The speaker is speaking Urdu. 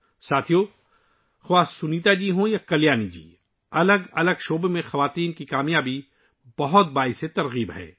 ساتھیو، سنیتا جی ہوں یا کلیانی جی، مختلف شعبوں میں ناری شکتی کی کامیابی بہت متاثر کن ہے